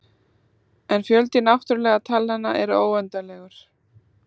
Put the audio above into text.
En fjöldi náttúrulegu talnanna er óendanlegur.